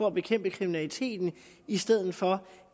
at bekæmpe kriminaliteten i stedet for